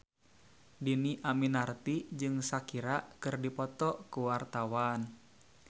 Dhini Aminarti jeung Shakira keur dipoto ku wartawan